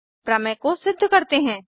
प्रमेय को सिद्ध करते हैं